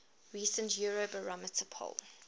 recent eurobarometer poll